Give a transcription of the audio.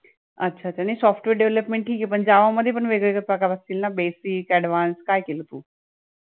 अच्छा अच्छा नाही software development ठीके पण java मध्ये पण वेगळेवेगळे प्रकार असतील ना basic, advanced काय केलं तू